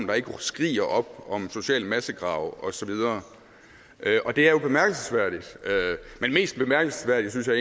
der ikke skriger op om sociale massegrave og så videre det er jo bemærkelsesværdigt men mest bemærkelsesværdigt synes jeg